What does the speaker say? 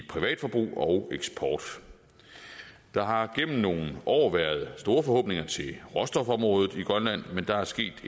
privatforbrug og eksport der har gennem nogle år været store forhåbninger til råstofområdet i grønland men der er sket